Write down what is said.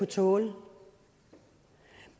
tåle